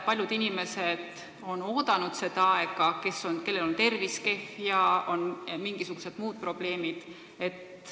Paljud inimesed on seda aega oodanud – kellel on tervis kehv, kellel on mingisugused muud probleemid.